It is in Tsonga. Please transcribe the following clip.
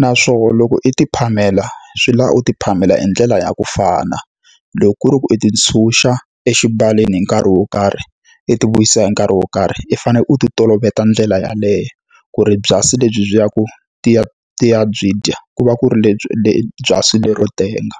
Naswona loko i ti phamela, swi lava u ti phamela hi ndlela ya ku fana. Loko ku ri ku u ti ntshuxa exivaleni hi nkarhi wo karhi, i ti vuyisa hi nkarhi wo karhi, i fanele u ti toloveta ndlela yaleyo. Ku ri byasi lebyi byi ya ku ti ya ti ya byi dya, ku va ku ri lebyi byasi lero tenga.